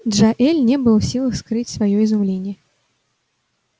джаэль не был в силах скрыть своё изумление